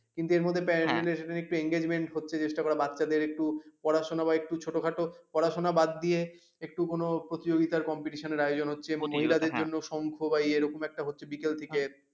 কিন্তু এর মধ্যে প্যান্ডেল এর একটু enjoyment হচ্ছে চেষ্টা করা বাচ্চাদের একটু পড়াশোনা বা একটু ছোটো খাটো পড়াশোনা বাদ দিয়ে একটু কোনো প্রতিযোগিতার কে competition আয়োজন হচ্ছে মহিলা দের জন্য শঙ্খ বা ইয়ে এরকম একটা হচ্ছে বিকেল থেকে